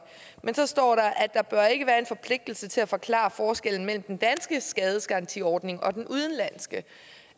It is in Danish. men så står der at der ikke bør være en forpligtelse til at forklare forskellen mellem den danske skadesgarantiordning og den udenlandske